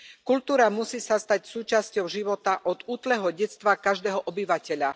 Kultúra sa musí stať súčasťou života od útleho detstva každého obyvateľa.